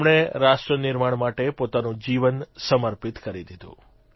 જેમણે રાષ્ટ્રનિર્માણ માટે પોતાનું જીવન સમર્પિત કરી દીધું